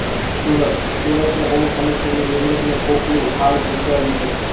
સુરતઃ સુરતના પોલીસ કમિશનરની નિમણૂંકનું કોકડું હાલ ગૂંચવાયું છે